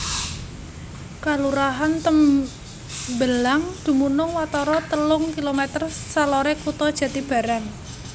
Kalurahan Tembelang dumunung watara telung kilomèter saloré kutha Jatibarang